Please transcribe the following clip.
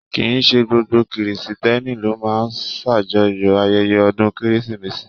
Kìí ṣe gbogbo Kiristẹni ló máa n s'ajọ̀yọ ayẹyẹ ọdún kérésìmesì.